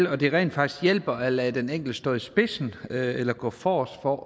at det rent faktisk hjælper at lade den enkelte stå i spidsen eller gå forrest for